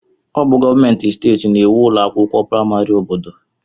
Ọ bụ gọọmentị steeti na-ēwu ụlọ akwụkwọ praịmarị obodo.